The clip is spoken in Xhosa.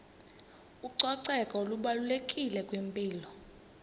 ucoceko lubalulekile kwimpilo